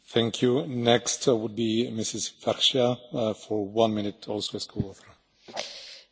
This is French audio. Monsieur le Président, l'Éthiopie est un grand pays, riche de son histoire et de la diversité de sa population.